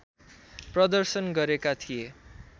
प्रदर्शन गरेका थिए